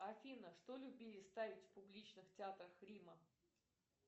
афина что любили ставить в публичных театрах рима